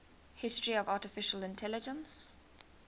history of artificial intelligence